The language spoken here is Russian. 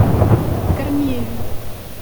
корнееве